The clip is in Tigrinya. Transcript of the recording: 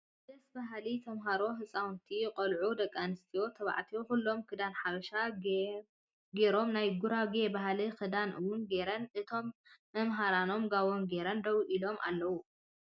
ደስ በሃልቲ ተምሃሮ ህፃውንቲ ቆልዑ ደቂ ኣንስትዮን ተባዕትዮ ኩሎም ክዳን ሓበሻ ጌም ናይ ጉራጌ ባህላዊ ክዳን እውን ጌረን እቶም መምሃራኖም ጋቦኖም ጌሮም ደው ኢሎም ኣለዉ።